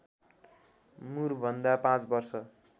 मुरभन्दा ५ वर्ष